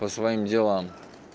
по своим делам